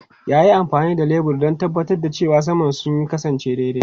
Ya yi amfani da lebur don tabbatar da cewa saman sun kasance daidai.